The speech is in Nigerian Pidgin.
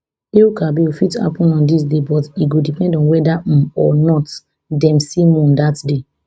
el kabirfit happun on dis day but e go depend on weda um or not dem see moon dat day